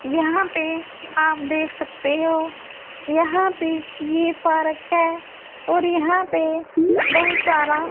यहां पे आप देख सकते हो यहां पे ये पार्क हैं और यहां पे बहुत सारा--